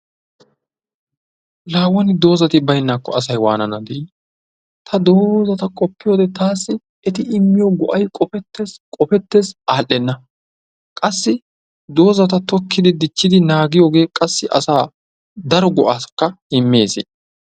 La woni doozati baynnaakko asay wannana dii! taan doozata qopiyoode tassi qoppete qopete adhdhena qassi doozata tokkidi dichchidi naagiyooge qassi daro go''a immees.